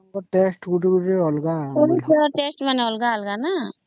ହମ୍